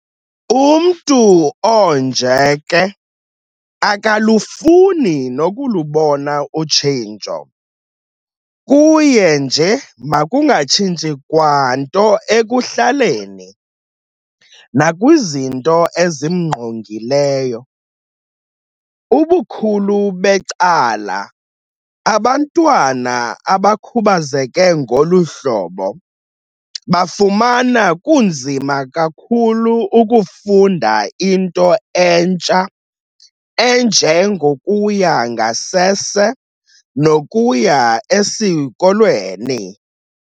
Umntu onje ke akalufuni nokulubona utshintsho, kuye nje makungatshintshi kwanto ekuhlaleni, nakwizinto ezimngqongileyo. Ubukhulu becala abantwana abakhubazeke ngolu hlobo bafumana kunzima kakhulu ukufunda into entsha enjengokuya ngasese nokuya esikolweni.